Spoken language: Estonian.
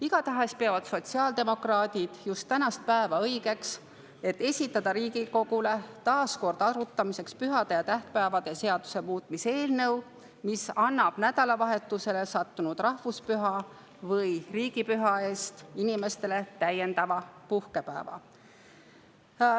Igatahes peavad sotsiaaldemokraadid just tänast päeva õigeks, et esitada Riigikogule taas kord arutamiseks pühade ja tähtpäevade seaduse muutmise eelnõu, mis annaks nädalavahetusele sattunud rahvuspüha või riigipüha puhul inimestele täiendava puhkepäeva.